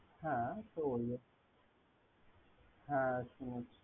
হ্যা।